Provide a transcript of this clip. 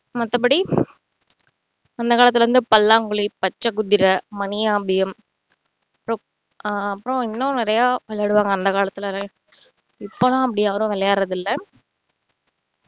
மத்தபடி அந்தகாலத்தில இந்த பல்லாங்குழி, பச்சை குதிரை, மணியாம்பியம் ஆஹ் அப்பறம் இன்னும் நிறைய விளையாடுவாங்க அந்த காலத்துல இப்போதான் அப்படி யாரும் விளையாடுறது இல்ல